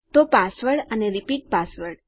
તો પાસવર્ડ અને repeat password